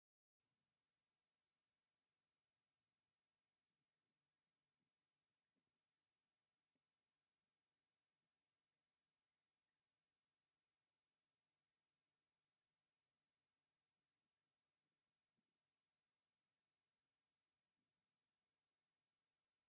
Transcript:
ቡዙሓት ሰባት አብ ውሽጢ ቤተ ክርስትያን ፃዕዳ ተከዲኖም አትዮም ገሊኦም ኮፍ ኢሎም ገሊኦም ከዓ ደኒኖም መቆምያ ሒዞም አብ ቀይሕ ሕብሪ ዘለዎ ወንበር ይርከቡ፡፡ እዚ ቤተ ክርስትያን እንዳፅዮን ማርያም ድዩ?